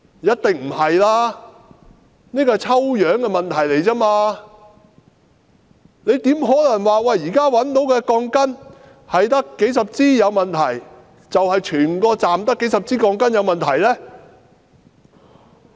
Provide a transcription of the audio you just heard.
一定不是，只是抽樣得出的結果而已，怎可能說現時只找到數十支有問題的鋼筋，就說整個車站只有數十支鋼筋有問題呢？